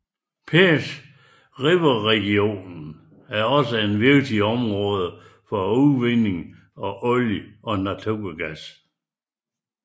Peace Riverregionen er også et vigtigt område for udvinding af olie og naturgas